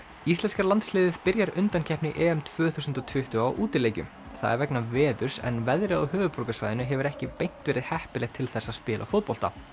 íslenska landsliðið byrjar undankeppni tvö þúsund og tuttugu á útileikjum það er vegna veðurs en veðrið á höfuðborgarsvæðinu hefur ekki beint verið heppilegt til þess að spila fótbolta